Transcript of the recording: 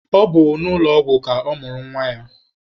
Ọ bụ n'ụlọ ọgwụ ka ọ mụrụ nwa ya.